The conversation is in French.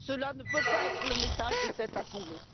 Cela ne peut pas être le message de cette assemblée.